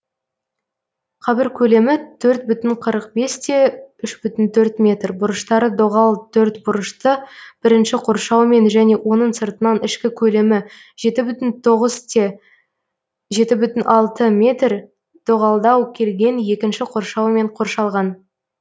қабір көлемі төрт бүтін қырық бес те үш бүтін төрт метр бұрыштары доғал төртбұрышты бірінші қоршаумен және оның сыртынан ішкі көлемі жеті бүтін тоғыз те жеті бүтін алты метр дөғалдау келген екінші қоршаумен қоршалған